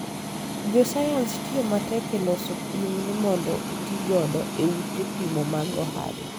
jo Sayans tiyo matek e loso pim ni mondo oti godo e ute pimo mag ohala